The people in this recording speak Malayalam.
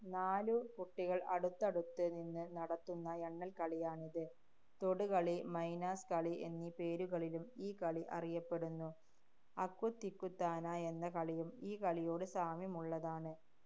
നാലു കുട്ടികള്‍ അടുത്തടുത്ത് നിന്ന് നടത്തുന്ന എണ്ണല്‍ കളിയാണിത്. തൊടുകളി, മൈനാസ് കളി എന്നീ പേരുകളിലും ഈ കളി അറിയപ്പെടുന്നു. അക്കുത്തിക്കുത്താന എന്ന കളിയും ഈ കളിയോട് സാമ്യമുള്ളതാണ്.